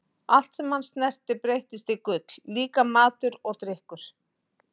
Allt sem hann snerti breyttist í gull, líka matur og drykkur.